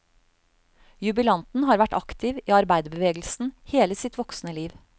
Jubilanten har vært aktiv i arbeiderbevegelsen hele sitt voksne liv.